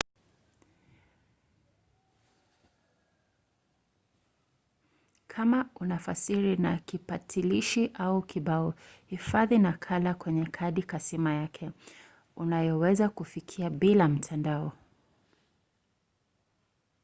kama unafasiri na kipakatilishi au kibao hifadhi nakala kwenye kadi kasima yakeunayoweza kufikia bila mtandao